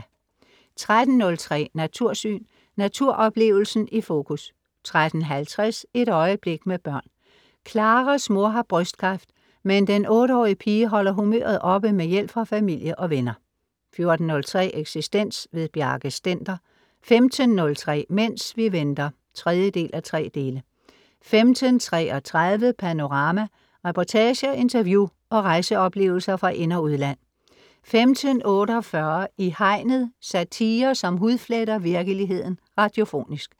13.03 Natursyn. Naturoplevelsen i fokus 13.50 Et øjeblik, med børn. Claras mor har brystkræft, men den 8-årige pige holder humøret oppe med hjælp fra familie og venner 14.03 Eksistens. Bjarke Stender 15.03 Mens vi venter 3:3 15.33 Panorama. Reportager, interview og rejseoplevelser fra ind og udland 15.48 I Hegnet. Satire, som hudfletter virkeligheden radiofonisk